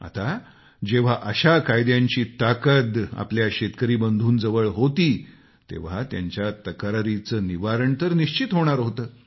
आता जेव्हा अशा कायद्यांची ताकद आपल्या शेतकरी बंधूंजवळ होती तेव्हा त्यांच्या तक्रारीचं निवारण तर निश्चित होणार होतं